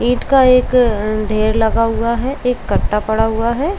ईट का एक अ ढेर लगा हुआ है एक गत्ता पड़ा हुआ है।